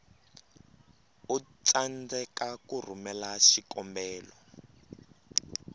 u tsandzeka ku rhumela xikombelo